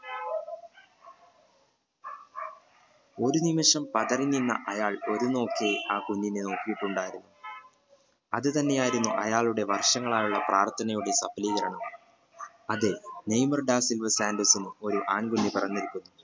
ഒരു നിമിഷം പതറി നിന അയാൾ ഒരുനോക് അയാൾ ആ കുഞ്ഞിനെ നോക്കിട്ടുണ്ടായിരുന്ന് അതു തന്നെ ആയിരുന്നു അയാളുടെ വര്ഷങ്ങളായ പ്രാത്ഥനയുടെ സഭലീകരണം അതെ നെയ്മർ ഡ സിൽവ സാന്റോസ് ഒരു ആൺ കുഞ്ഞു പെറന്നിരിക്കുന്നു